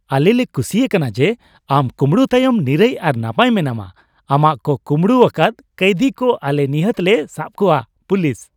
ᱟᱞᱮᱞᱮ ᱠᱩᱥᱤ ᱟᱠᱟᱱᱟ ᱡᱮ ᱟᱢ ᱠᱩᱢᱲᱩ ᱛᱟᱭᱚᱢ ᱱᱤᱨᱟᱹᱭ ᱟᱨ ᱱᱟᱯᱟᱭ ᱢᱮᱱᱟᱢᱟ ᱾ ᱟᱢᱟᱜ ᱠᱚ ᱠᱩᱢᱲᱩ ᱟᱠᱟᱫ ᱠᱟᱹᱭᱫᱷᱤ ᱠᱚ ᱟᱞᱮ ᱱᱤᱦᱟᱹᱛ ᱞᱮ ᱥᱟᱵ ᱠᱚᱣᱟ ᱾ (ᱯᱩᱞᱤᱥ)